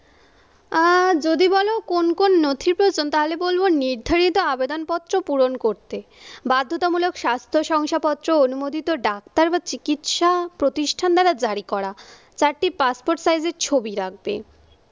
আহ যদি বলো কোন কোন নথি প্ৰয়োজন তাহলে বলবো নির্ধারিত আবেদনপত্র পূরণ করতে বাধ্যতামূলক স্বাস্থ্য শংসাপত্র অনুমোদিত ডাক্তার বা চিকিৎসা প্রতিষ্ঠান দ্বারা জারি করা, চারটি পাসপোর্ট সাইজের ছবি রাখবে,